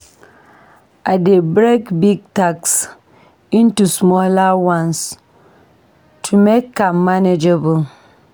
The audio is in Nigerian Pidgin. I dey break big tasks into smaller ones to make am manageable.